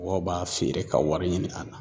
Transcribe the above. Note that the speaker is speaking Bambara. Mɔgɔw b'a feere ka wari ɲini a na